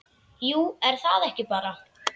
Jú, er það ekki bara?